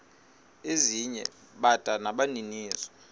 ezinye bada nabaninizo